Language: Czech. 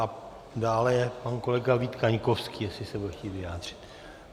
A dále je pan kolega Vít Kaňkovský, jestli se bude chtít vyjádřit.